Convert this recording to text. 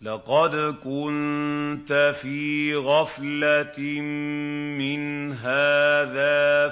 لَّقَدْ كُنتَ فِي غَفْلَةٍ مِّنْ هَٰذَا